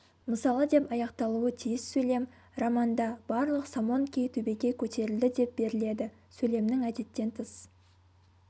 мысалы деп аяқталуы тиіс сөйлем романда барлық самонки төбеге көтерілді деп беріледі сөйлемнің әдеттен тыс